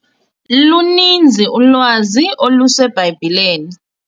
Luninzi ulwazi oluseBhayibhileni.